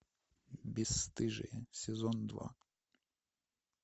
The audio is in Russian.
бесстыжие сезон два